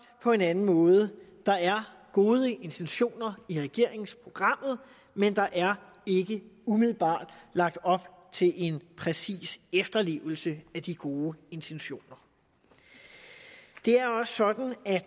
på en anden måde der er gode intentioner i regeringsprogrammet men der er ikke umiddelbart lagt op til en præcis efterlevelse af de gode intentioner det er også sådan at